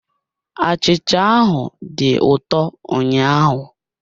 Achịcha ahụ dị ụtọ ụnyaahụ